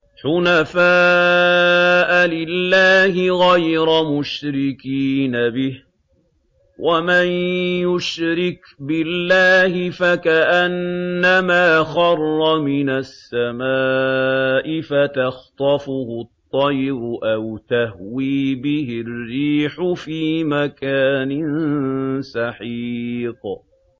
حُنَفَاءَ لِلَّهِ غَيْرَ مُشْرِكِينَ بِهِ ۚ وَمَن يُشْرِكْ بِاللَّهِ فَكَأَنَّمَا خَرَّ مِنَ السَّمَاءِ فَتَخْطَفُهُ الطَّيْرُ أَوْ تَهْوِي بِهِ الرِّيحُ فِي مَكَانٍ سَحِيقٍ